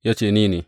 Ya ce, Ni ne.